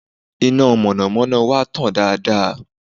Iná mọ̀nàmọ́ná wa tàn dáadáa